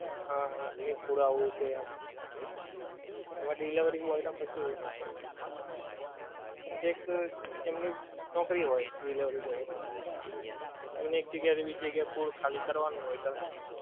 હા એમનું food આવું છે એમ. એમાં delivery boy નું કશું એવું ના હોય. એટલે એક એમની નૌકરી હોય delivery boy માંતો. એમણે એક જગ્યા એથી બીજી જગ્યા એ food ખાલી કરવાનું હોય transfer.